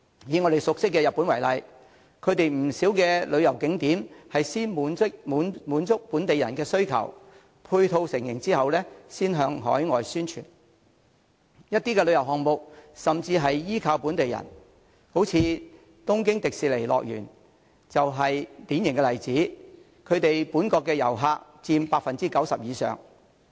以我們熟悉的日本為例，其不少旅遊景點是先滿足本地人的需求，配套成型後才向海外宣傳；一些旅遊項目甚至是依靠本地人，東京迪士尼樂園就是典型例子，本國遊客佔其訪客總數 90% 以上。